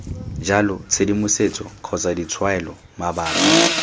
jalo tshedimosetso kgotsa ditshwaelo mabapi